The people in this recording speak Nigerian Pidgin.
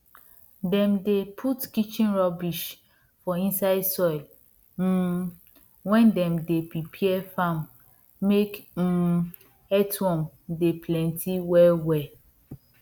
dem dey put kitchen rubbish for inside soil um wen dem dey prepare farm make um earthworm dem plenty wellwell